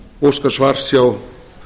óska svars hjá